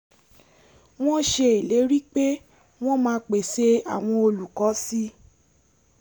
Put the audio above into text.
wọ́n ṣe ìlérí pé wọ́n máa pèsè àwọn olùkọ́ si